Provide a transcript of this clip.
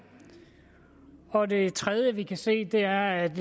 og det tredje vi kan se er at